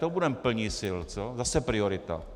To budeme plni sil, co? Zase priorita.